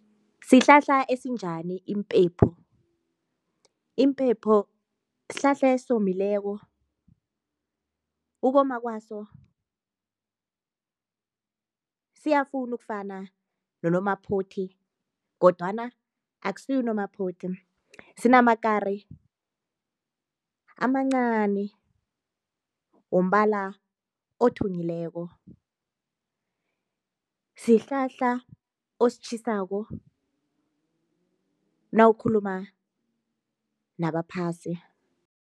Sihlahla esinjani impepho? Impepho sihlahla esomileko ukoma kwaso siyafuna ukufana nonomaphothi kodwana akusiwo unomaphothi sinamakari amancani wombala othunyileko sihlahla ositjhasako nawukhuluma nabaphasi.